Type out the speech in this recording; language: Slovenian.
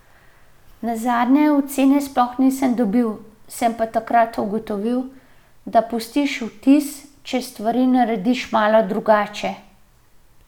Nazadnje ocene sploh nisem dobil, sem pa takrat ugotovil, da pustiš vtis, če stvari narediš malo drugače.